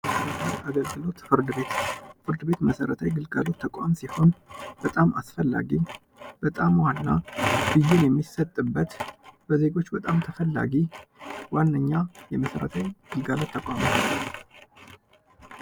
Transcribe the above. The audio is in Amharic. ፍርድ ቤት ፍርድ ቤት መሰረታዊ ግልጋሎት ተቋም ሲሆን በጣም አስፈላጊ በጣም ዋነኛ ፍትህ የሚሰጡበት በዜጎች በጣም አስፈላጊ ዋነኛ የመሰረታዊ አገልግሎት ተቋም ነው ።